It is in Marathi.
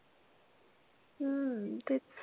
हम्म तेच